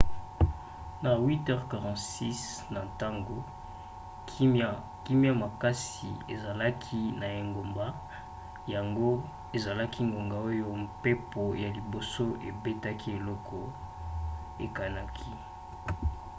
na 8:46 na ntongo kimya makasi ezalaki na engumba yango ezalaki ngonga oyo mpepo ya liboso ebetaki eloko ekanaki